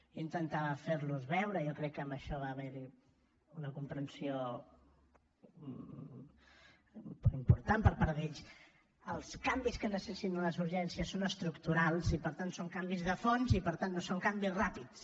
jo intentava fer los veure i jo crec que amb això va haver hi una comprensió important per part d’ells que els canvis que necessiten les urgències són estructurals i per tant són canvis de fons i per tant no són canvis ràpids